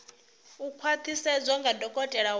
u khwaṱhisedzwa nga dokotela wa